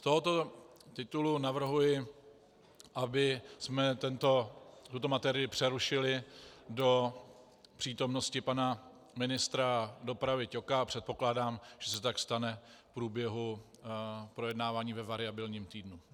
Z tohoto titulu navrhuji, abychom tuto materii přerušili do přítomnosti pana ministra dopravy Ťoka, a předpokládám, že se tak stane v průběhu projednávání ve variabilním týdnu.